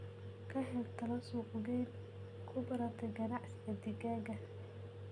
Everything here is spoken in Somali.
Ka hel talo suuqgeyn khubarada ganacsiga digaaga.